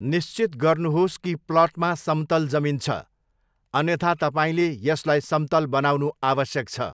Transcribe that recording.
निश्चित गर्नुहोस् कि प्लटमा समतल जमिन छ, अन्यथा तपाईँँले यसलाई समतल बनाउनु आवश्यक छ।